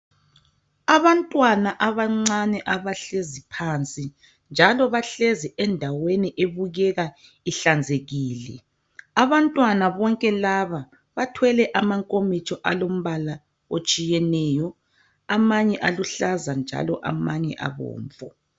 Abantwana abancane abahlezi phansi, njalo bahlezi endaweni ebukeka ihlanzekile. Abantwana bonke laba bathwele amankomitsho alombala otshiyeneyo .Amanye aluhlaza njalo amanye abomvu.